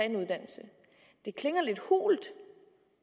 en uddannelse det klinger lidt hult